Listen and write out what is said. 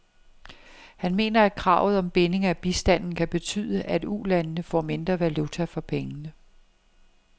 Han mener, at kravet om binding af bistanden kan betyde, at ulandene får mindre valuta for pengene.